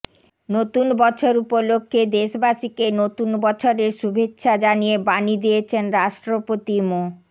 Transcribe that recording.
নতুন বছর উপলক্ষে দেশবাসীকে নতুন বছরের শুভেচ্ছা জানিয়ে বাণী দিয়েছেন রাষ্ট্রপতি মো